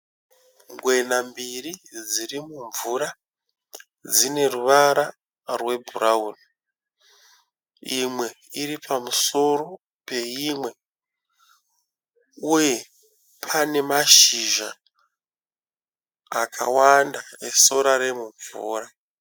Ngwena mbiri dzirimumvura, dzine ruvara rwebhurauni. Imwe iripamusoro peimwe , uye pane mashizha akawanda esora remumvura.